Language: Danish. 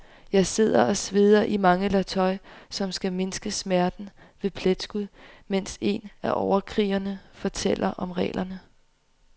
Jeg sidder og sveder i mange lag tøj, som skal mindske smerten ved pletskud, mens en af overkrigerne fortæller om reglerne.